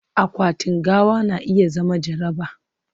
akwatin gawa na iya zama jaraba